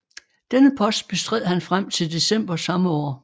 Denne post bestred han frem til december samme år